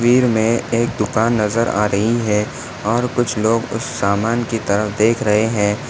तस्वीर मे एक दुकान नजर आ रही है और कुछ लोग उस समान की तरफ देख रहे है।